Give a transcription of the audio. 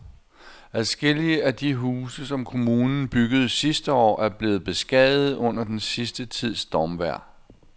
Adskillige af de huse, som kommunen byggede sidste år, er blevet beskadiget under den sidste tids stormvejr.